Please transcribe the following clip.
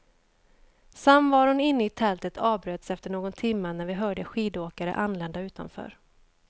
Samvaron inne i tältet avbröts efter någon timma när vi hörde skidåkare anlända utanför.